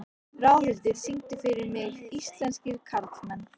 Ráðhildur, syngdu fyrir mig „Íslenskir karlmenn“.